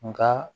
Nka